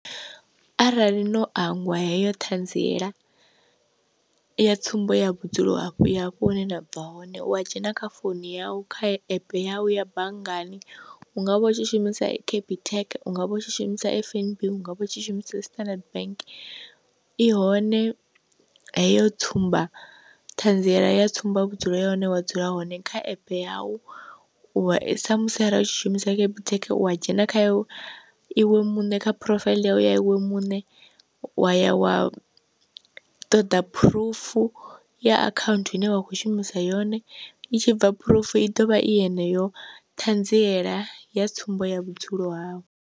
Arali no angwa heyo ṱhanziela ya tsumbo ya vhudzulo hafho ya hafho hune nda bva hone u a dzhena kha founu yau kha app yanu ya banngani hungavha u tshi shumisa capitec ungavha u tshi shumisa F_N_B ungavha u tshi shumisa standard bank, i hone heyo tsumba ṱhanziela ya tsumba vhudzulo ya hone wa dzula hone kha epe yau u sa musi arali u tshi shumisa capitec u dzhena kha iwe muṋe kha phurofaiḽi yawe i ya iwe muṋe wa ya wa ṱoḓa phurufu ya akhaunthu ine wa khou shumisa yone, i tshi bva phurufu i ḓovha i yeneyo ṱhanziela ya tsumbo ya vhudzulo hawu.